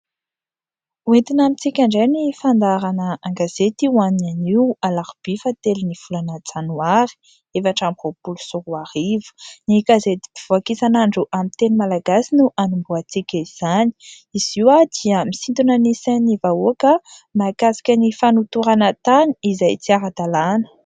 Hoentina amintsika indray ny fandaharana an-gazety ho an'ny anio alarobia fa telo ny volana janoary efatra amby roapolo sy roa arivo. Ny gazety mpivoaka isan' andro amin'ny teny malagasy no hanombohantsika izany izy io dia misintona ny sain'ny vahoaka mahakasika ny fanotorana tany izay tsy ara-dalàna.